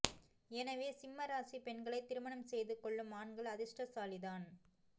எனவே சிம்ம இராசி பெண்களை திருமணம் செய்து கொள்ளும் ஆண்கள் அதிர்ஷ்டசாலி தான்